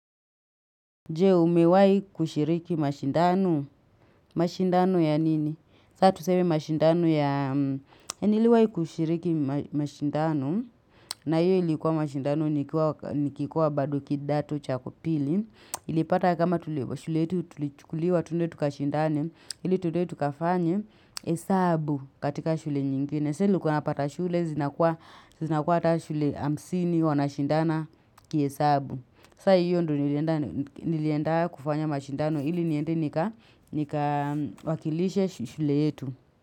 Jee umewai kushiriki mashindano. Mashindano ya nini? Saa tuseme mashindano yaa Niliwai kushiriki mashindano na hio ilikuwa mashindano nikikuwa bado kidato cha pili. Ilipata kama tuliwa shule yetu tulichukuliwa twende tukashindane, ili twende tukafanye hesabu katika shule nyingine. Saa nilikuwa napata shule zinakuwa hata shule hamsini wanashindana kihesabu. Sa hiyo ndo nilienda kufanya mashindano ili niende nika wakilishe shule yetu.